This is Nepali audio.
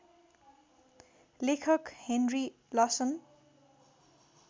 लेखक हेनरी लसन